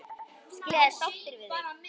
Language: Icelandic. Skilja þeir sáttir við þig?